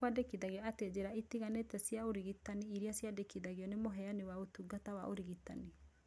Nĩkwendekithagio atĩ njĩra itiganĩte cia ũrigitani irĩa ciaragĩrĩrio nĩ mũheani wa ũtungata wa ũrigitani